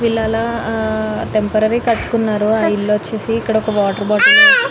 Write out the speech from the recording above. పిలలు హా టెంపరరీ గా కట్కున్నారు ఆ ఇల్లు వచ్చేసి ఇక్కడోక వాటర్ బాటిల్ --